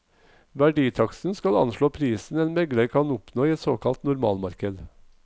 Verditaksten skal anslå prisen en megler kan oppnå i et såkalt normalmarked.